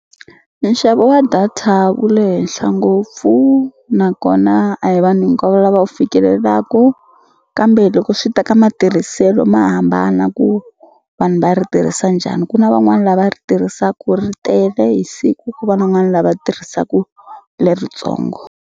Nxavo wa data wu le henhla ngopfu nakona a hi vanhu hinkwavo lava wu fikelelaku kambe loko swi ta ka matirhiselo ma hambana ku vanhu va ri tirhisa njhani ku na van'wani lava ri tirhisaku ri tele hi siku ku va na n'wa ni lava tirhisaku leritsongo.